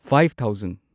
five thousand